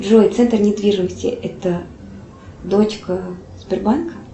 джой центр недвижимости это дочка сбербанка